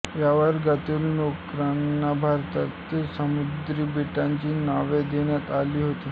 या वर्गातील नौकांना भारतातील समुद्री बेटांची नावे देण्यात आली होती